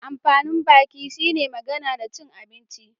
Amfanin baki shi ne magana da cin abinci